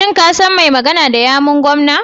Shin ka san mai magana da yawun gwamnan.